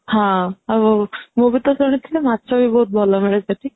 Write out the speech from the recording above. ହଁ ମୁଁ ବି ତ ଶୁଣି ଥିଲି ମାଛ ବି ବହୁତ ଭଲ ମିଳେ ସେଠି